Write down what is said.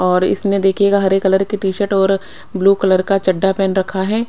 और इसमें देखिएगा हरे कलर की टीसर्ट और ब्लू कलर का चड्डा पहन रखा है।